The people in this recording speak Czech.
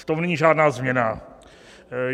V tom není žádná změna.